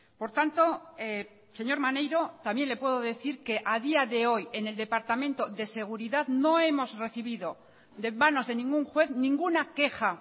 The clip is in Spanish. por tanto señor maneiro también le puedo decir que a día de hoy en el departamento de seguridad no hemos recibido de manos de ningún juez ninguna queja